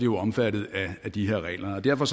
jo omfattet af de her regler derfor